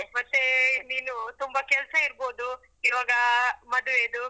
ಮತ್ತೆ ನೀನು ತುಂಬ ಕೆಲ್ಸ ಇರ್ಬೋದು ಇವಾಗ ಮದ್ವೆದು.